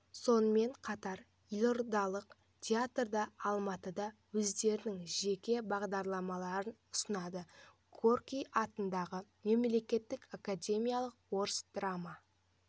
сонымен қатар елордалық театр да алматыда өздерінің жеке бағдарламаларын ұсынады горький атындағы мемлекеттік академиялық орыс драма